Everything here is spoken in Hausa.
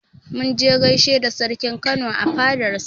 Mun je mun gaishe da sarkin Kano a fadar sa